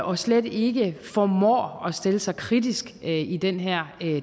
og slet ikke formår at stille sig kritisk heller ikke i den her